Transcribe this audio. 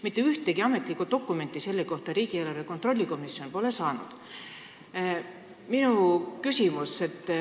Mitte ühtegi ametlikku dokumenti selle kohta pole riigieelarve kontrolli erikomisjon saanud.